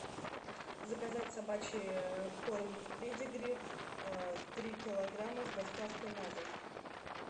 заказать собачий корм педигри три килограмма с доставкой на дом